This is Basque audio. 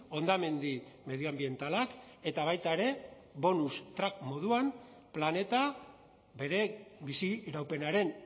hondamendi medioanbientalak eta baita ere bonus track moduan planeta bere biziraupenaren